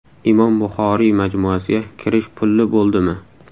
Imom Buxoriy majmuasiga kirish pulli bo‘ldimi?.